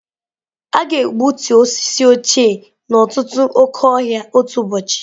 A ga-egbutu osisi ochie n'ọtụtụ oke ọhịa otu ụbọchị.